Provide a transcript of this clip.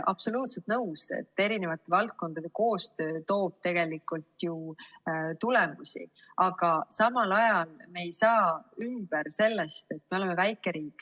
Absoluutselt nõus, et valdkondade koostöö toob tegelikult ju tulemusi, aga samal ajal me ei saa üle ega ümber sellest, et me oleme väike riik.